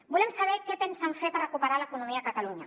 volem saber què pensen fer per recuperar l’economia a catalunya